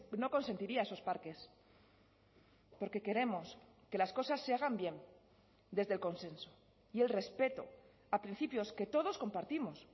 no consentiría a esos parques porque queremos que las cosas se hagan bien desde el consenso y el respeto a principios que todos compartimos